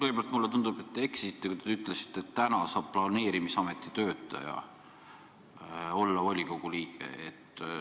Kõigepealt mulle tundub, et te eksisite, kui te ütlesite, et täna saab planeerimisameti töötaja olla volikogu liige.